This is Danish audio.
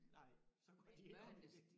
Nej så går de ikke op i det